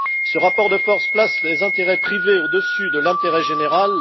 Ce rapport de force place les intérêts privés au dessus de l'intérêt général.